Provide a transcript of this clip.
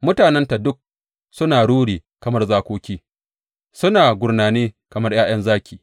Mutanenta duk suna ruri kamar zakoki, suna gurnani kamar ’ya’yan zaki.